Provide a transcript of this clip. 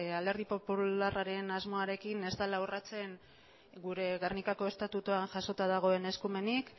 alderdi popularraren asmoarekin ez dela urratsen gure gernikako estatutuan jasota dagoen eskumenik